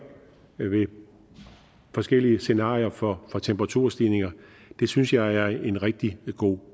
ved forskellige scenarier for for temperaturstigninger det synes jeg er en rigtig god